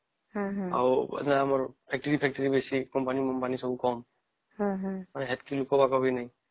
ଆଉ ସେତ ଆମର factory ଆମର ଆଉ company ବି କାମ ସେତିକି ଲୋକ ବକ ବି ନାଇଁ